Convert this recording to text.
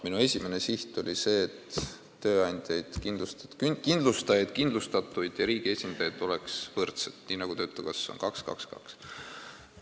Minu esimene siht oli see, et tööandjaid, kindlustajaid, kindlustatuid ja riigi esindajaid oleks võrdselt, nii nagu töötukassas on: 2 : 2 : 2.